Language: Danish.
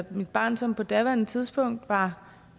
mit barn som på daværende tidspunkt var